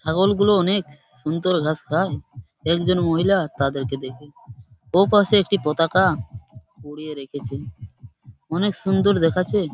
ছাগলগুলো অনেক-ক সুন্দর ঘাস খায় একজন মহিলা তাদের কে দেখে ওই পাশে একটি পতাকা-আ উড়িয়ে রেখেছে অনেক সুন্দর দেখাচ্ছে।